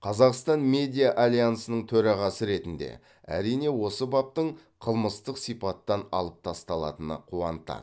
қазақстан медиа альянсының төрағасы ретінде әрине осы баптың қылмыстық сипаттан алып тасталатыны қуантады